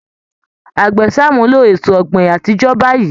Àgbẹ̀ ń ṣàmúlò ètò ọ̀gbìn àtijọ́ báyìí